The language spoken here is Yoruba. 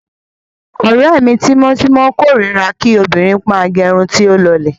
Ọ̀rẹ́ tímọ́tímọ́ mi kórira kí obìnrin máa gẹ irun tí ó lọlẹ̀.